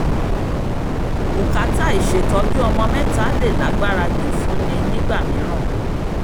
bùkátà ìṣètọ́jú ọmọ mẹ́ta lè lágbára jù fún ni nígbà mìíràn